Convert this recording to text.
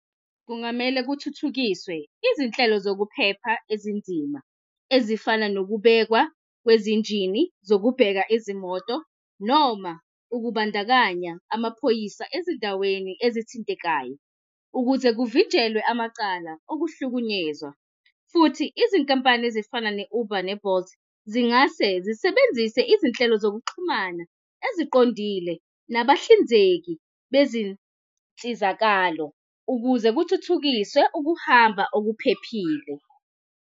Kungamele kuthuthukiswe izinhlelo zokuphepha ezinzima ezifana nokubekwa kwezinjini zokubheka izimoto noma ukubandakanya amaphoyisa ezindaweni ezithintekayo ukuze kuvinjelwe amacala okuhlukunyezwa futhi izinkampani ezifana ne-Uber ne-Bolt zingase zisebenzise izinhlelo zokuxhumana eziqondile nabahlinzeki bezinsizakalo ukuze kuthuthukiswe ukuhamba okuphephile.